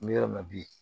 N bɛ yɔrɔ min na bi